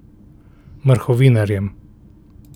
Mrhovinarjem.